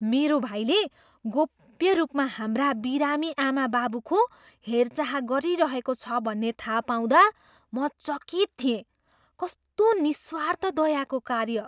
मेरो भाइले गोप्य रूपमा हाम्रा बिरामी आमाबाबुको हेरचाह गरिरहेको छ भन्ने थाहा पाउँदा म चकित थिएँ। कस्तो निस्वार्थ दयाको कार्य!